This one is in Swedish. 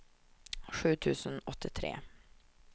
sju tusen åttiotre